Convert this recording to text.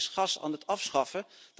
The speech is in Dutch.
Nederland is gas aan het afschaffen.